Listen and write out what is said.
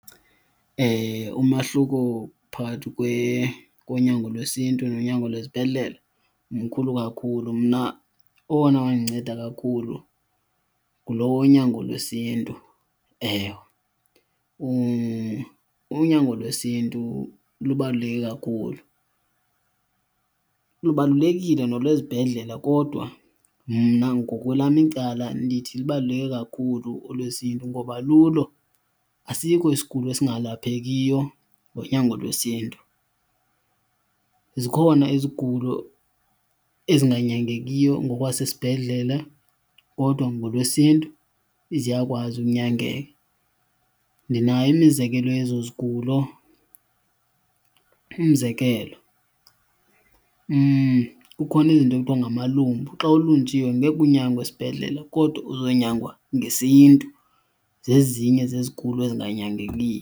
Umahluko phakathi konyango lwesiNtu nonyango lwezibhedlele mkhulu kakhulu. Mna owona wandinceda kakhulu ngulo wonyango lwesiNtu, ewe. unyango lwesiNtu lubaluleke kakhulu, lubalulekile nolwesibhedlela kodwa mna ngokwelam icala ndithi lubaluleke kakhulu olwesiNtu ngoba kulo asikho isigulo esingalaphekiyo ngonyango lwesiNtu. Zikhona izigulo ezinganyangekiyo ngokwasesibhedlela kodwa ngolwesiNtu ziyakwazi unyangeka, ndinayo imizekelo yezo zigulo. Umzekelo kukhona izinto ekuthiwa ngamalumbu, xa ulunjiwe ngeke unyangwe esibhedlela kodwa uzonyangwa ngesiNtu. Zezinye zezigulo ezinganyangeki.